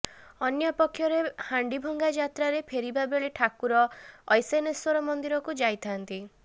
ଅନ୍ୟପକ୍ଷରେ ହାଣ୍ଡିଭଙ୍ଗା ଯାତ୍ରାରେ ଫେରିବା ବେଳେ ଠାକୁର ଐଶାନେଶ୍ୱର ମନ୍ଦିରକୁ ଯାଇଥାନ୍ତି